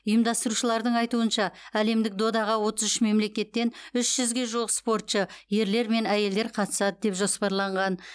ұйымдастырушыларың айтуынша әлемдік додаға отыз үш мемлекеттен үш жүзге жуық спортшы ерлер мен әйелдер қатысады деп жоспарланған